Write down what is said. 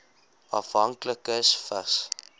afhanklikes vigs